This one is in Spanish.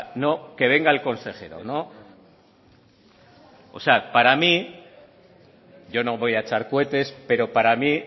no que venga el consejero no para mí yo no voy a echar cohetes pero para mí